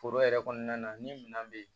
Foro yɛrɛ kɔnɔna na ni minɛn bɛ yen